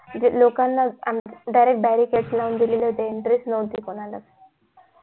लोकांन आमच्या direct gate लावून दिलेले entry च नव्हती कोणाला च